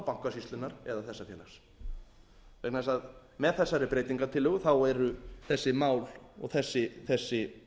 bankasýslunnar eða þessa félags með þegar breytingartillögu eru þessi mál og þessi